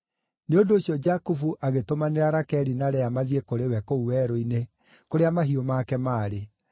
Nĩ ũndũ ũcio Jakubu agĩtũmanĩra Rakeli na Lea mathiĩ kũrĩ we kũu werũ-inĩ kũrĩa mahiũ make maarĩ.